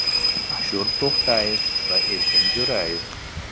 Ashur To‘xtayev va Erkin Jo‘rayev.